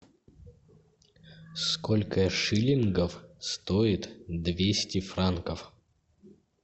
сколько шиллингов стоит двести франков